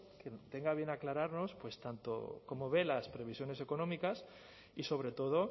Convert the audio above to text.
que tenga bien aclararnos pues tanto cómo ve las previsiones económicas y sobre todo